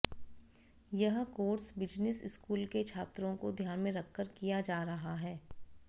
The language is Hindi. यह कोर्स बिजनेस स्कूल के छात्रों को ध्यान में रखकर किया जा रहा है